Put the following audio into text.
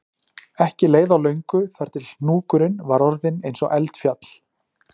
Ekki leið á löngu þar til hnúkurinn var orðinn eins og eldfjall